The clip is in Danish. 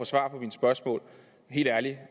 svar på mine spørgsmål helt ærligt